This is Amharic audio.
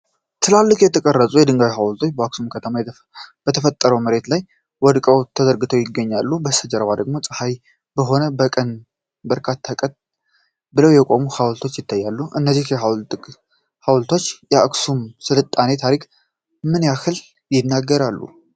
ትላልቅ የተቀረጹ የድንጋይ ሐውልቶች በአክሱም ከተማ በተፈጥሮ መሬት ላይ ወድቀውና ተዘርግተው ይገኛሉ። ከጀርባ ደግሞ ፀሐያማ በሆነ ቀን በርካታ ቀጥ ብለው የቆሙ ሐውልቶች ይታያሉ። እነዚህ የጥንት ሐውልቶች የአክሱም ሥልጣኔ ታሪክ ምን ያህል ይናገራሉ?